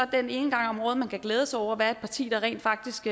en gange om året man kan glæde sig over at være et parti der rent faktisk